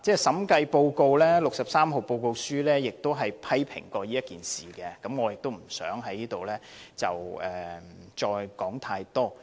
《審計署署長第六十三號報告書》亦曾批評此事，我亦不想在此再多說。